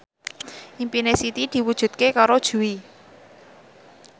impine Siti diwujudke karo Jui